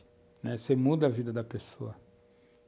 Você muda a vida da pessoa.